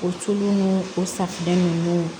O tulu ni o safunɛ ninnu